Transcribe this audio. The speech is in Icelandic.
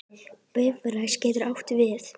Bifröst getur átt við